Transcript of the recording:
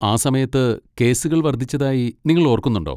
ആ സമയത്ത് കേസുകൾ വർധിച്ചതായി നിങ്ങൾ ഓർക്കുന്നുണ്ടോ?